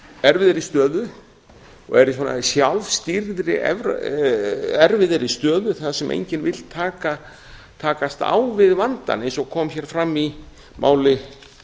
erfiðri stöðu og er í svona sjálfstýrðri erfiðri stöðu þar sem enginn vill takast á við vandann eins og kom hér fram í máli